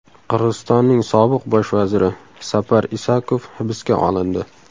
Qirg‘izistonning sobiq bosh vaziri Sapar Isakov hibsga olindi.